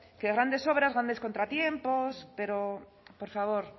que a grandes obras grandes contratiempos pero por favor